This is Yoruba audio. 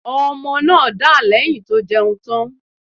Ọmọ náà dà lẹ̀yìn tó jẹun tán.